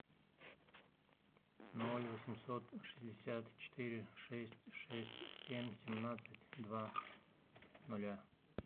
ноль восемьсот шестьдесят четыре шесть шесть семь семнадцать два нуля